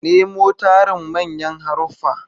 Nemo tarin manyan haruffa.